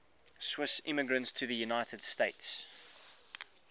swiss immigrants to the united states